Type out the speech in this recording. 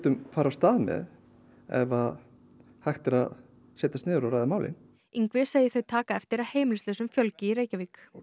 ef að hægt er að setjast niður og ræða málin Ingvi segir þau taka eftir að heimilislausum fjölgi í Reykjavík klárlega og